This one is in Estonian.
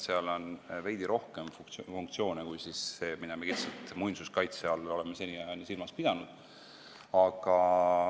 Seal on veidi rohkem funktsioone kui see, mida me muinsuskaitse all oleme seniajani silmas pidanud.